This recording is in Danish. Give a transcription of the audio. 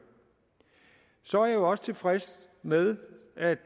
så er jeg også tilfreds med at